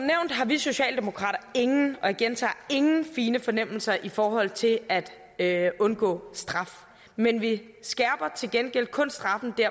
har vi socialdemokrater ingen og jeg gentager ingen fine fornemmelser i forhold til at at undgå straf men vi skærper til gengæld kun straffen der